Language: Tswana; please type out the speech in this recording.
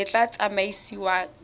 le tla tsamaisiwang ka yona